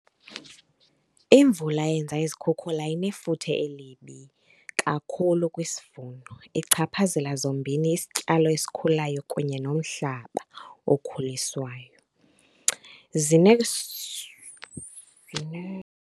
Imvula eyenza izikhukhula inefuthe elibi kakhulu kwisivuno, ichaphazela zombini isityalo esikhulayo kunye nomhlaba okhuliswayo .